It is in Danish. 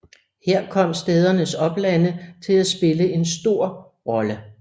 Her kom stædernes oplande til at spille en stor rolle